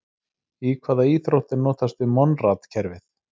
Í hvaða íþrótt er notast við Monrad-kerfið?